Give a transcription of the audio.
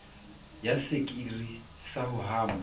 ya sekiri sa ho hama